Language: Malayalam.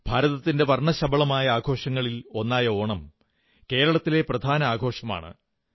ഭാരതത്തിന്റെ വർണ്ണശബളമായ ആഘോഷങ്ങളിൽ ഒന്നായ ഓണം കേരളത്തിലെ പ്രധാന ആഘോഷമാണ്